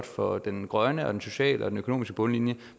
for den grønne og den sociale og den økonomiske bundlinje